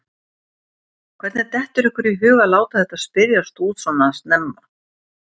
Hvernig dettur ykkur í hug að láta þetta spyrjast út svona snemma?